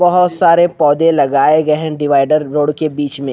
बहुत सारे पौधे लगाए गए हैं डिवाइडर रोड के बीच में।